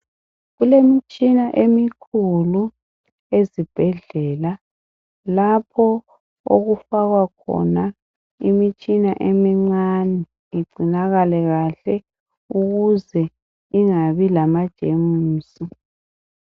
Kulemitshina emikhulu ezibhedlela lapho okufakwa khona imishina emincane igcinakale kahle ukuze ingabi lamajemusi.